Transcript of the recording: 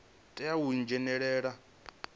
tea u dzhenelela vhugudisi ho